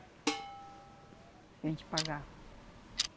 A gente pagava.